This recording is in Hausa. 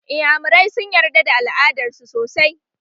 Iyamurai sun yarda da al'adar su sosai